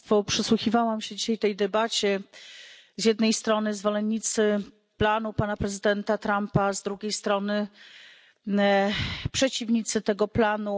Przysłuchiwałam się dzisiaj tej debacie z jednej strony zwolennicy planu pana prezydenta Trumpa, a z drugiej strony przeciwnicy tego planu.